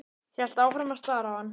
Hélt áfram að stara á hann.